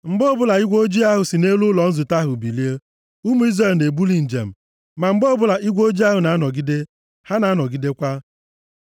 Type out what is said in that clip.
Mgbe ọ bụla igwe ojii ahụ si nʼelu ụlọ nzute ahụ bilie, ụmụ Izrel na-ebuli njem, ma mgbe ọbụla igwe ojii ahụ na-anọgide, ha na-anọgidekwa. + 9:17 \+xt 1Kọ 10:1\+xt*